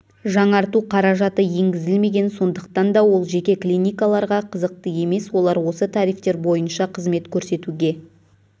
жаңарту қаражаты енгізілмеген сондықтанда ол жеке клиникаларға қызықты емес олар осы тарифтер бойынша қызмет көрсетуге